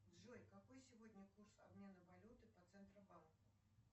джой какой сегодня курс обмена валюты по центробанку